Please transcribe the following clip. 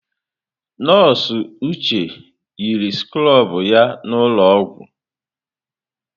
Nọọsụ Uche yiri skrobụ ya n'ụlọọgwụ.